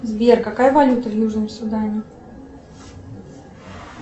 сбер какая валюта в южном судане